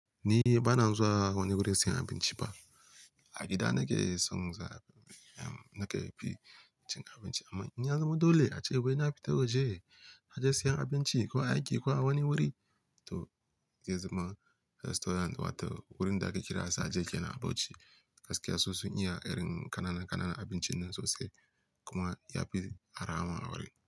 Ni ba na zuwa wani wurin siyan abinci ba. A gida nake son za em nake fi cin abinci. Amma in ya zama dole a ce wai na fita waje, na je siyan abinci ko a aiki ko a wani wuri, to zai zama restaurant wato wurin da ake kira Saje kenan a Bauchi gaskiya su sun. Iya irin kananan, kananan abincin nan sosai kuma ya fi arha ma a wurin.